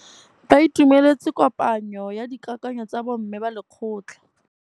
Ba itumeletse kôpanyo ya dikakanyô tsa bo mme ba lekgotla.